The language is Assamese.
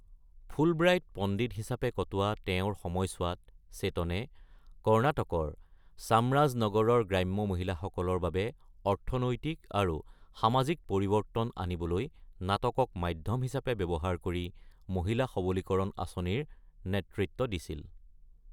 ফুলব্ৰাইট পণ্ডিত হিচাপে কটোৱা তেওঁৰ সময়ছোৱাত চেতনে কৰ্ণাটকৰ চামৰাজনগৰৰ গ্ৰাম্য মহিলাসকলৰ বাবে অৰ্থনৈতিক আৰু সামাজিক পৰিৱৰ্তন আনিবলৈ নাটকক মাধ্যম হিচাপে ব্যৱহাৰ কৰি মহিলা সবলীকৰণ আঁচনিৰ নেতৃত্ব দিছিল।